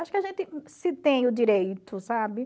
Acho que a gente se tem o direito, sabe?